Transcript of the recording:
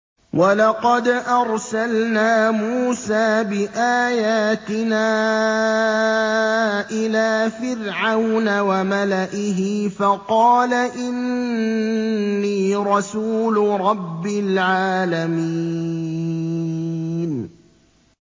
وَلَقَدْ أَرْسَلْنَا مُوسَىٰ بِآيَاتِنَا إِلَىٰ فِرْعَوْنَ وَمَلَئِهِ فَقَالَ إِنِّي رَسُولُ رَبِّ الْعَالَمِينَ